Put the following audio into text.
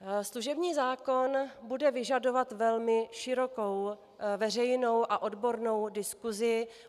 Služební zákon bude vyžadovat velmi širokou veřejnou a odbornou diskusi.